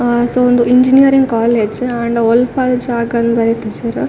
ಆ ಸೊ ಉಂದು engineering college ಆಂಡ ಒಲ್ಪ ಶಾಕ ಇಂದ್ ಬರೆತಿಜೆರ್.